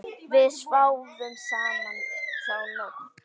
Við sváfum saman þá nótt.